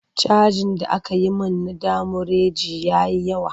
Cajin da aka yi min na demurej ya yi yawa.